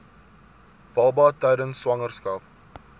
baba tydens swangerskap